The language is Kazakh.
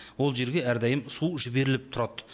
ол жерге әрдайым су жіберіліп тұрады